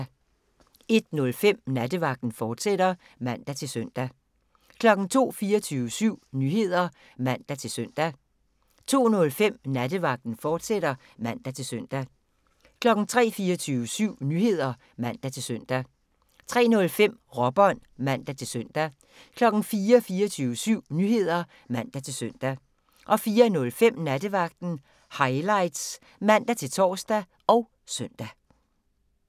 01:05: Nattevagten, fortsat (man-søn) 02:00: 24syv Nyheder (man-søn) 02:05: Nattevagten, fortsat (man-søn) 03:00: 24syv Nyheder (man-søn) 03:05: Råbånd (man-søn) 04:00: 24syv Nyheder (man-søn) 04:05: Nattevagten Highlights (man-tor og søn)